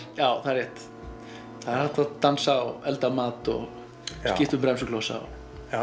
já það er rétt það er hægt að dansa elda mat og skipta um bremsuklossa